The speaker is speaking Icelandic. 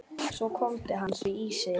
Svo hvolfdi hann því í sig.